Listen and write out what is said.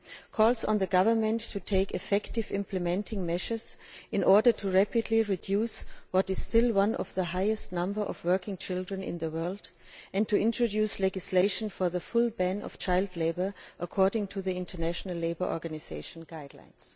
calls on the Government of India to take effective implementing measures in order to rapidly reduce what is still one of the highest number of working children in the world and to introduce legislation for a full ban on child labour in accordance with the International Labour Organisation guidelines'.